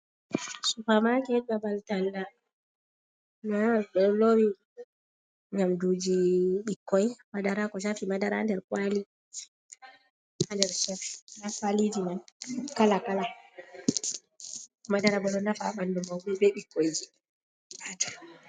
Supa maket babal talla, nɗa ɓeɗo lowi nyamdu ji ɓikkoi madara ko shafi madara ha nder kwali, ha nder nda kala kala madara bo ɗo nafa ɓandu mauɓe be ɓikkoi ji.